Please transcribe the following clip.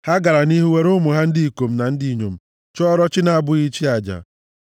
Ha gara nʼihu were ụmụ ha ndị ikom na ndị inyom chụọrọ chi na-abụghị chi aja. + 106:37 Maọbụ, ajọ mmụọ